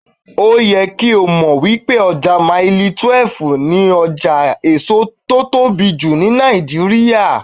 Ó yẹ kí o mọ̀ wípé ọjà Mailí 12 ni ọjà èso tó tóbi jù ní Nàìjíríà.